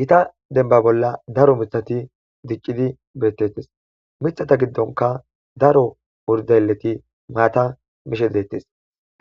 Gita demba bolla daro mitbthati diccidi beetetees. Miththata giddonka daro urdaleti maata mishe deetees.